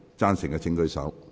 贊成的請舉手。